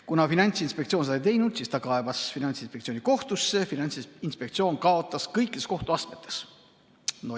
Kuna Finantsinspektsioon seda ei teinud, siis kaebas ettevõte Finantsinspektsiooni kohtusse, aga Finantsinspektsioon kaotas kõikides kohtuastmetes.